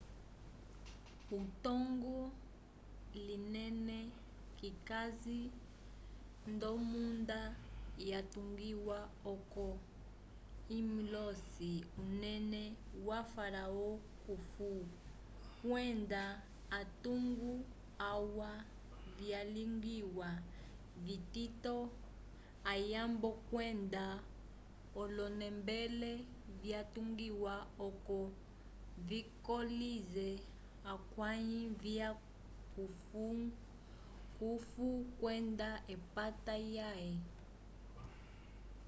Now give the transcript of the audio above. etungo linene likasi nd'omunda yatungiwa oco imõlise unene wa-faraó khufu kwenda atungo alwa vyalingiwa vitito ayambo kwenda olonembele vyatungiwa oco vikolise akãyi vya khufu kwenda epata lyãhe